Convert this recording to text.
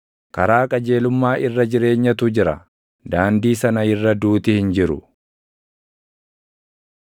Karaa qajeelummaa irra jireenyatu jira; daandii sana irra duuti hin jiru.